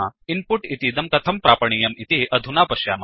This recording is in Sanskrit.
इन् पुट् इतीदं कथं प्रापणीयम्160 इति अधुना पश्यामः